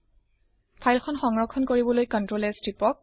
file সংৰক্ষণ কৰিবলৈ Ctrl S টিপক